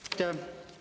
Aitäh!